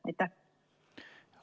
Aitäh!